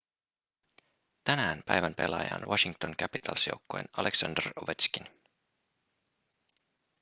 tänään päivän pelaaja on washington capitals joukkueen aleksandr ovetškin